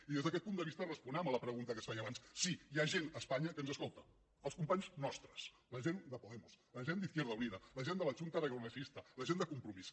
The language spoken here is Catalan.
i des d’aquest punt de vista responem a la pregunta que es feia abans sí hi ha gent a espanya que ens escolta els companys nostres la gent de podemos la gent d’izquierda unida la gent de la chunta aragonesista la gent de compromís